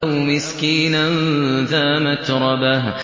أَوْ مِسْكِينًا ذَا مَتْرَبَةٍ